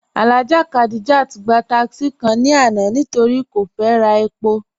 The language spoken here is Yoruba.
Alhaja Khadijat gba tákísí kàn ni àná nítorí́ kò fẹ́ rà èpò.